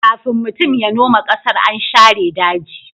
kafin mutum ya noma ƙasar, an share daji